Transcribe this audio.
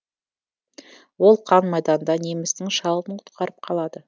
ол қан майданда немістің шалын құтқарып қалады